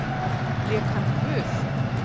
Lék hann guð?